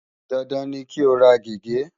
Dandan ni kí o ra gègé!